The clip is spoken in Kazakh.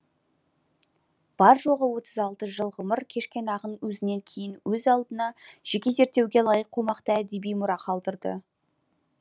бар жоғы отыз алты жыл ғұмыр кешкен ақын өзінен кейін өз алдына жеке зерттеуге лайық қомақты әдеби мұра қалдырды